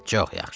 Çox yaxşı.